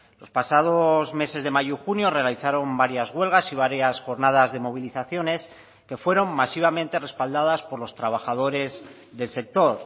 los pasados meses de mayo y junio realizaron varias huelgas y varias jornadas de movilizaciones que fueron masivamente respaldadas por los trabajadores del sector